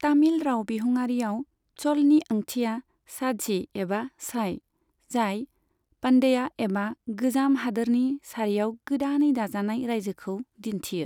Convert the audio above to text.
तामिल राव बिहुङारियाव चलनि ओंथिया साझी एबा साई, जाय पान्ड्या एबा गोजाम हादोरनि सारियाव गोदानै दाजानाय रायजोखौ दिन्थियो।